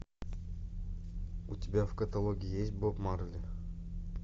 у тебя в каталоге есть боб марли